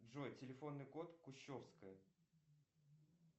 джой телефонный код кущевская